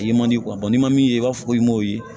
A yi man di ni ma min ye i b'a fɔ i m'o ye